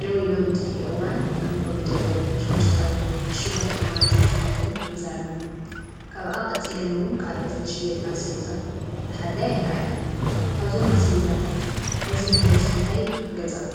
ደው ኢሎም እንትጥይቕዋን ከም ኮሚደረ፣ ሽጉርቲ ቀይሕ፣ ዕሽጓት ኦማር ዘይቲታትን ሒዛ ኣላ፡፡ ካብኣ ቀፂለን ውን ካልኦት ዝሽየጥ ኣስቤዛ ዝሓዛ ይራኣያ፡፡ ካብዞም ኣስቤዛታት ሕዚ ብበዝሒ እንታይ ንገዛእኹም?